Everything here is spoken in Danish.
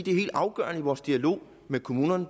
er helt afgørende i vores dialog med kommunerne